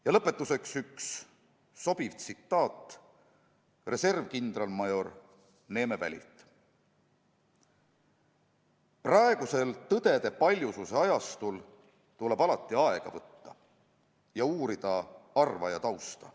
Ja lõpetuseks üks sobiv tsitaat reservkindralmajor Neeme Välilt: "Praegusel tõdede paljususe ajastul tuleb alati aega võtta ja uurida arvaja tausta.